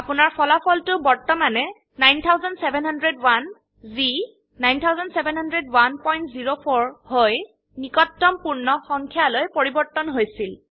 আপোনাৰ ফলফলটো বৰ্তমানে ৯৭০১ যি ৯৭০১০৪ -হৈ নিকটতম পূৰ্ণ সংখ্যাযলৈ পৰিবৰ্তন হৈছিল